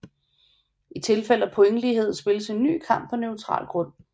I tilfælde af pointlighed spilledes en ny kamp på neutral grund